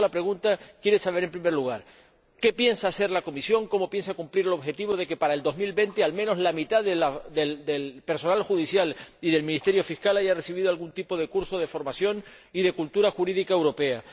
Y por eso se presenta esta pregunta, para saber, en primer lugar, qué piensa hacer la Comisión, cómo piensa cumplir el objetivo de que para 2020 al menos la mitad del personal judicial y del Ministerio Fiscal haya recibido algún tipo de curso de formación y de cultura jurídica europea.